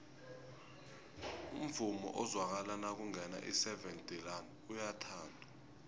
umvumo ozwakala nakungena iseven delaan uyathandwa